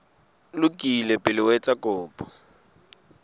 lokile pele o etsa kopo